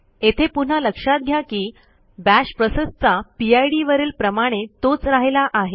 येथे पुन्हा लक्षात घ्या की बाश प्रोसेसचा पिड वरील प्रमाणे तोच राहिला आहे